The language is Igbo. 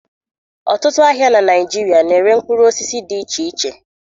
Ọtụtụ ahịa na Naịjirịa na-ere mkpụrụ osisi dị iche iche